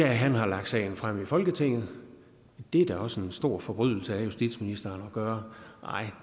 han har lagt sagen frem i folketinget det er da også en stor forbrydelse af justitsministeren at gøre